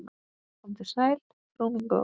Komdu sæl, frú mín góð.